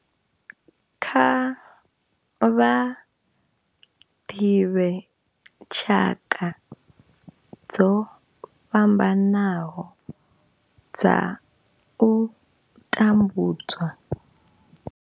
Kha vha ḓivhe tshaka dzo fhambanaho dza u tambudzwa.